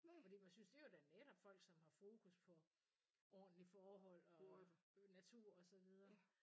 Fordi man synes det jo da netop folk som har fokus på ordentlige forhold og natur og sådan videre